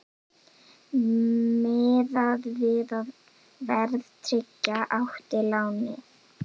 Miðað við að verðtryggja átti lánið